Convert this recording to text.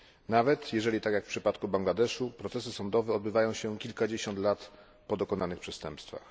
Nawet jeżeli tak jak w przypadku Bangladeszu procesy sądowe odbywają się kilkadziesiąt lat po dokonanych przestępstwach.